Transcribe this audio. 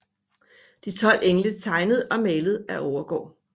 De 12 engle tegnet og malet af Overgaard